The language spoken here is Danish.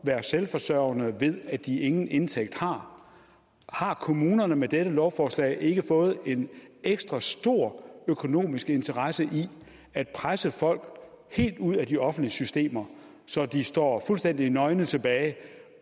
være selvforsørgende ved at de ingen indtægt har har kommunerne med dette lovforslag ikke fået en ekstra stor økonomisk interesse i at presse folk helt ud af de offentlige systemer så de står fuldstændig nøgne tilbage